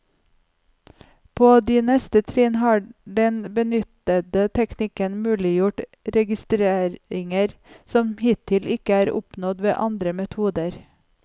På de neste trinn har den benyttede teknikken muliggjort registreringer som hittil ikke er oppnådd ved andre metoder.